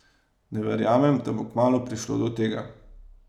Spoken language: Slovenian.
Ne verjamem, da bo kmalu prišlo do tega.